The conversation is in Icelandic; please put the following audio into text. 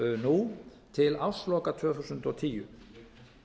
nú til ársloka tvö þúsund og tíu